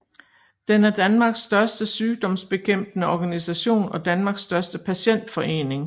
Den er Danmarks største sygdomsbekæmpende organisation og Danmarks største patientforening